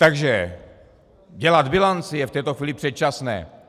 Takže dělat bilanci je v této chvíli předčasné.